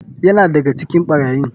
Yana daga cikin barayin.